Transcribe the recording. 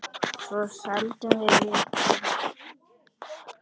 Svo seldum við líka Vikuna.